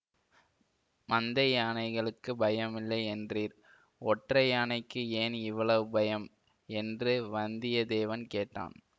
மந்தை யானைகளுக்குப் பயமில்லை என்றீர் ஒற்றை யானைக்கு ஏன் இவ்வளவு பயம் என்று வந்தியத்தேவன் கேட்டான்